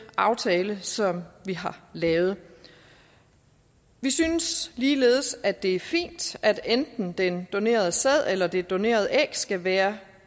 aftale som vi har lavet vi synes ligeledes at det er fint at den donerede sæd eller det donerede æg skal være